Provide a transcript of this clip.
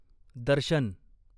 दर्शन